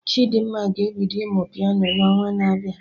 Chidimma ga-ebido ịmụ Piano na onwa na abịa